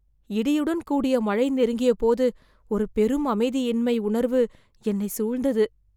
இடியுடன் கூடிய மழை நெருங்கியபோது ஒரு பெரும் அமைதியின்மை உணர்வு என்னைச் சூழ்ந்தது